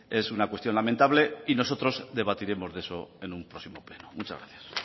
es una cuestión lamentable y nosotros debatiremos de eso en un próximo pleno muchas gracias